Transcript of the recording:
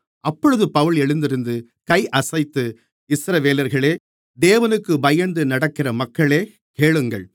அப்பொழுது பவுல் எழுந்திருந்து கையசைத்து இஸ்ரவேலர்களே தேவனுக்குப் பயந்து நடக்கிற மக்களே கேளுங்கள்